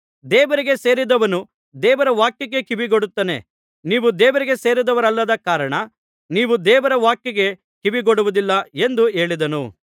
ದೇವರಿಗೆ ಸೇರಿದವನು ದೇವರ ವಾಕ್ಯಕ್ಕೆ ಕಿವಿಗೊಡುತ್ತಾನೆ ನೀವು ದೇವರಿಗೆ ಸೇರಿದವರಲ್ಲದ ಕಾರಣ ನೀವು ದೇವರ ವಾಕ್ಯಕ್ಕೆ ಕಿವಿಗೊಡುವುದಿಲ್ಲ ಎಂದು ಹೇಳಿದನು